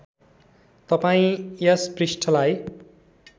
तपाईँ यस पृष्ठलाई